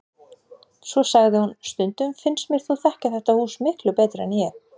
Svo sagði hún: Stundum finnst mér þú þekkja þetta hús miklu betur en ég